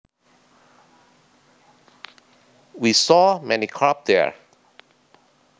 We saw many carp there